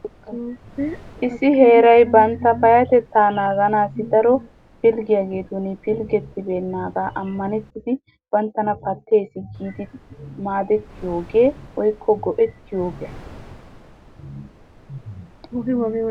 Issi heerayi bantta payyatettaa naaganaassi daro pilggiyageetun pilggettennaagaa ammanettidi banttana pattees giidi maadettiyogee woykko go'ettiyogee?